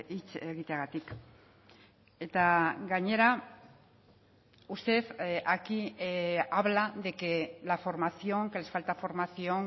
hitz egiteagatik eta gainera usted aquí habla de que la formación que les falta formación